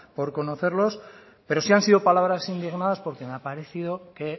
por conocerlos pero sí han sido palabras indignadas porque me ha parecido que